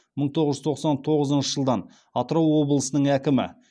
мың тоғыз жүз тоқсан тоғызыншы жылдан атырау облысының әкімі